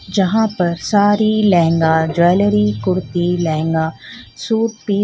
जहां पर sari lehenga jewellery kurti lehenga suit piece --